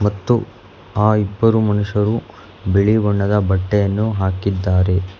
ಮತ್ತು ಆ ಇಬ್ಬರು ಮನುಷ್ಯರು ಬಿಳಿ ಬಣ್ಣದ ಬಟ್ಟೆಯನ್ನು ಹಾಕಿದ್ದಾರೆ.